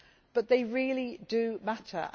But they really do matter.